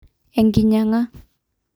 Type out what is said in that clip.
Enkinyanga